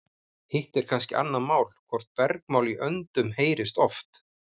Hitt er kannski annað mál hvort bergmál í öndum heyrist oft.